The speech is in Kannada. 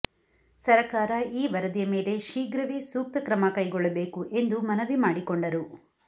ಸರಕಾರ ಈ ವರದಿಯ ಮೇಲೆ ಶೀಗ್ರವೇ ಸೂಕ್ತ ಕ್ರಮ ಕೈಗೊಳ್ಳಬೇಕು ಎಂದು ಮನವಿ ಮಾಡಿಕೊಂಡರು